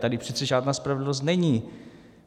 Tady přece žádná spravedlnost není.